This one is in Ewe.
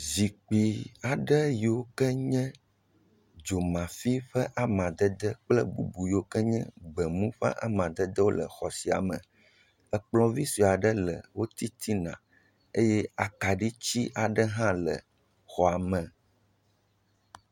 Zikpui aɖe yiwo ke nye dzomafi ƒe amadede kple bubu yiwo ke nye gbemu ƒe amadede le xɔ sia me. Kplɔ̃ vi sue aɖe le wo titina eye akaɖi ti aɖe hã le xɔa me.